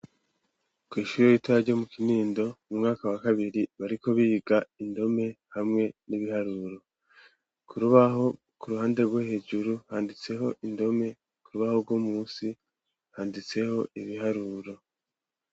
Kw’ishure ritoya ryo mu kinindo mu mwaka wa kabiri bariko biga indome hamwe n'ibiharuro kurubaho ku ruhande rwo hejuru handitseho indome kurubaho rwo musi handitseho ibiharuro.